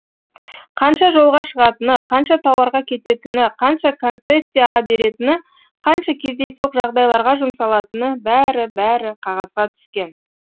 қанша жолға шығатыны қанша тауарға кететіні қанша концессияға беретіні қанша кездейсоқ жағдайларға жұмсалатыны бәрі бәрі қағазға түскен